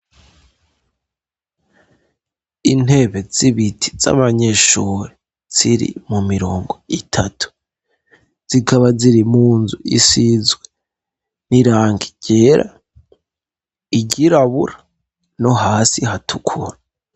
Intebe z'ibiti z'abanyeshuri ziri mu mirongo itatu, zikaba ziri munzu isizwe n'irangi ryera, iryirabura, no hasi hatukura.